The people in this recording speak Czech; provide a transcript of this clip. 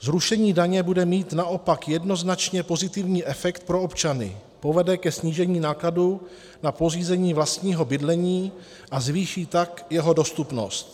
Zrušení daně bude mít naopak jednoznačně pozitivní efekt pro občany - povede ke snížení nákladů na pořízení vlastního bydlení, a zvýší tak jeho dostupnost.